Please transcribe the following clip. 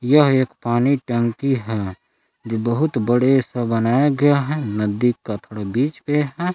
यह एक पानी टंकी है जो बहुत बड़े से बनाया गया है नदी का थोड़ा बीच पे है।